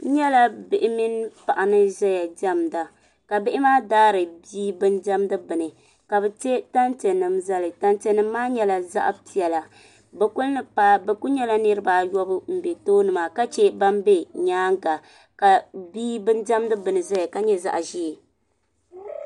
n nyɛla bia mini paɣa ni ʒiya diɛmda ka bia maa daari bia bindiɛmdi bini ka bi tiɛ tantiɛ nim zali tantiɛ nim maa nyɛla zaɣ piɛla bi ku nyɛla niraba ayɔbu n bɛ tooni maa ka chɛ ban bɛ nyaanga ka bia bin diɛmdi bini ʒɛya ka nyɛ zaɣ ʒiɛ